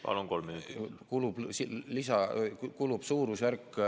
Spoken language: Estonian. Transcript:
Palun, kolm minutit!